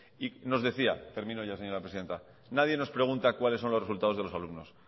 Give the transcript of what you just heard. y nos decía termino ya señora presidenta nadie nos pregunta cuáles son los resultados de los alumnos